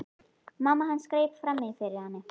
Mamma hans greip fram í fyrir henni.